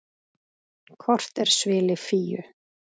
Kort er svili Fíu.